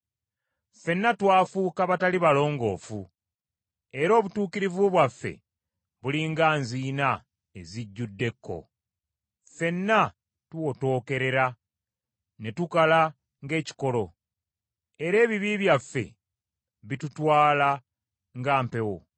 Ffenna twafuuka batali balongoofu era obutuukirivu bwaffe buli nga nziina ezijjudde obukyafu . Ffenna tuwotookerera ne tukala ng’ekikoola, era ebibi byaffe bitutwala nga mpewo.